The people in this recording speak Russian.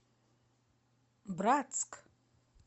братск